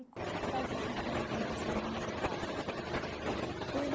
E quando é que dá esse esse encontro entre sua mãe e seu pai? Foi no